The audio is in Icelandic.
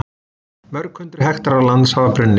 Mörg hundruð hektarar lands hafa brunnið